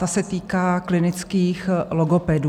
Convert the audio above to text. Ta se týká klinických logopedů.